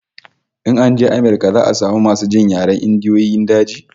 In an je Amirka za'a samu masu jin yaren Indiyoyin daji